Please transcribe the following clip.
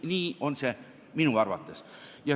Nii on see minu arvates.